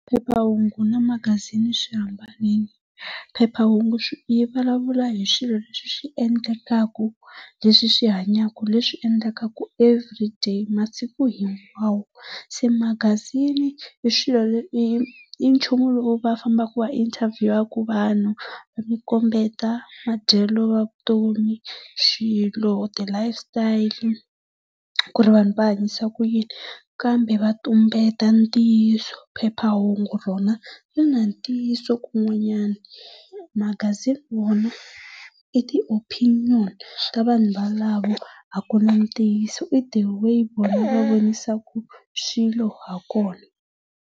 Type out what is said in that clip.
Phephahungu na magazini swi hambanile. Phephahungu yi vulavula hi swilo leswi endlekaka, leswi swi hanyaka, leswi swi endlekaka everyday masiku hinkwawo. Se magazini i swilo i i nchumu lowu va fambaka va inthabhiyuwaka vanhu, yi kombeta madyelo ya vutomi, swilo, ti-life style, ku ri vanhu va hanyisa ku yini kambe va tumbeta ntiyiso. Phephahungu rona ri na ntiyiso kun'wanyana, magazini wona i ti-opinion ta vanhu valavo a ku na ntiyiso i the way vona va vonisaka swilo hi kona.